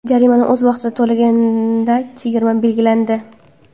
Jarimani o‘z vaqtida to‘laganga chegirma belgilandi.